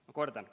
Ma kordan.